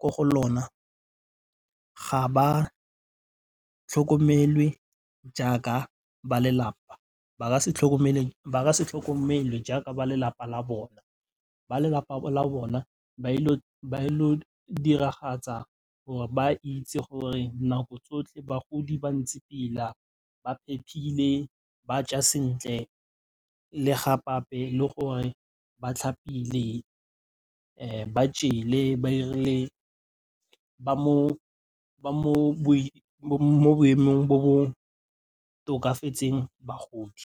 ko ga lona ga ba tlhokomelwe jaaka ba lelapa. Ba ka se tlhokomelwe jaaka ba lelapa la bona, ba lelapa la bona ba ile go diragatsa gore ba itse gore nako tsotlhe bagodi ba ntse pila, ba phephile, ba ja sentle le gape-gape le gore ba tlhapile ba jele ba mo boemong jo bo tokafetseng bagodi.